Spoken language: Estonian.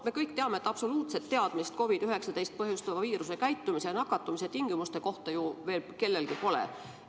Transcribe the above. Me kõik teame, et absoluutset teadmist COVID-19 põhjustava viiruse käitumise, nakatumistingimuste kohta kellelgi veel pole.